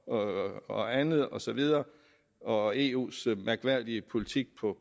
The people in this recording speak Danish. og og andet og så videre og eus mærkværdige politik på